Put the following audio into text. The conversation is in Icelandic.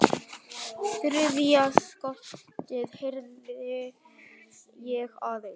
Þriðja skotið heyrði ég aðeins.